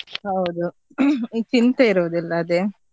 ಹೌದು ಈ ಚಿಂತೆ ಇರುದಿಲ್ಲ ಅದೇ.